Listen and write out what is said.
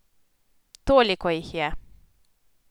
Toliko jih je!